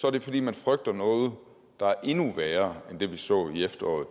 er det fordi man frygter noget der er endnu værre end det vi så i efteråret